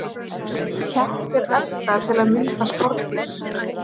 kettir elta til að mynda skordýr